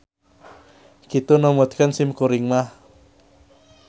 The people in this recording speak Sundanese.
Kitu numutkeun sim kuring mah.